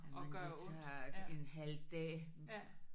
Jamen det tager en halv dag